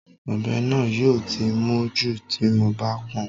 Ọ̀bẹ náà yóò ti mún jù tí mo bá pọn